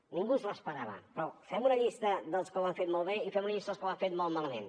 ningú s’ho esperava però fem una llista dels que ho han fet molt bé i fem una llista dels que ho han fet molt malament